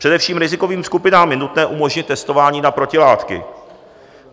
Především rizikovým skupinám je nutné umožnit testování na protilátky.